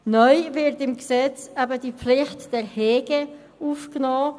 Neu wird im Gesetz die Pflicht der Hege aufgenommen: